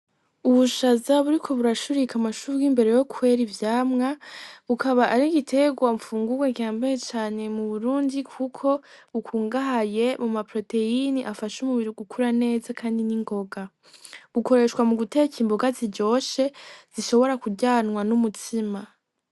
Ubushaza buriko burashurika amashugwe imbere yo kwera ivyamwa ukaba ari igitegwa gifungwa gihambaye cane mu Burundi kuko bukungahaye muma proteyine afasha umubiri gukura neza kandi ningonga, bukoreshwa mu guteka imboga ziryoshe zishobora kuryanwa n' umutsima.